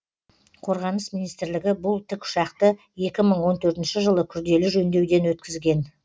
қорғаныс министрлігі бұл тікұшақты екі мың он төртінші жылы күрделі жөндеуден өткізген